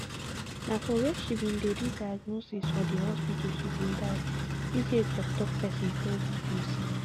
na for wia she bin dey do diagnosis for di hospital she bin die uch toktok pesin tell bbc